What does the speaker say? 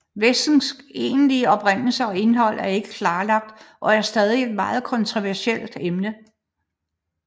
Væskens egentlige oprindelse og indhold er ikke klarlagt og er stadig et noget kontroversielt emne